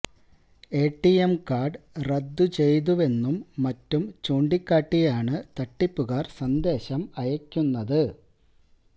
A T M card റദ്ദു ചെയ്തുവെന്നും മറ്റും ചൂണ്ടിക്കാട്ടിയാണ് തട്ടിപ്പുകാര് സന്ദേശം അയക്കുന്നത്